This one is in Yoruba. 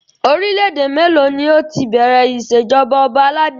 Orílẹ̀ èdè mélòó ni ó ti bẹ̀rẹ̀ ìṣèjọba ọba aládé?